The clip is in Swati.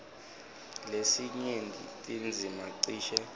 lesinyenti tindzima cishe